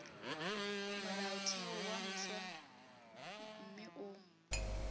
molaotheo wo mofsa mme o